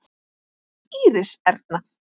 Íris Erna.